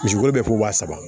Misi kolo bɛ ko wa saba